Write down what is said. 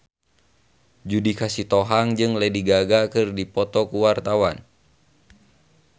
Judika Sitohang jeung Lady Gaga keur dipoto ku wartawan